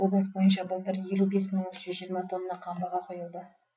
облыс бойынша былтыр елу бес мың үш жүз жиырма тонна қамбаға құйылды